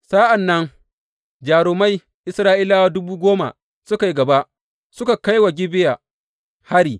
Sa’an nan jarumai Isra’ila dubu goma suka yi gaba suka kai wa Gibeya hari.